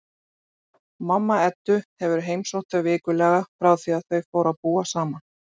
Mamma Eddu hefur heimsótt þau vikulega frá því að þau fóru að búa saman.